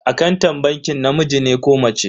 Akantan bankin namiji ne ko mace?